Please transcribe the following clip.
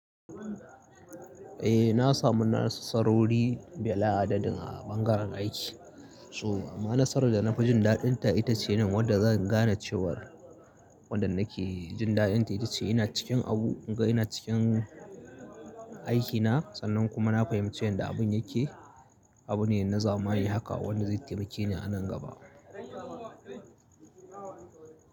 Eh na samu nasarori bila adadin a bangaren aiki. Toh ma nasarar da na fi jin daɗinta ita ce nan wadda zan gane cewar wanda nake jin daɗinta ita ce ina cikin abu, inga ina cikin aikina sannan kuma na fahimci yanda abun yake. Abu ne na zamani haka wanda zai taimake ni a nan gaba.